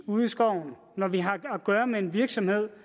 ude i skoven når vi har at gøre med en virksomhed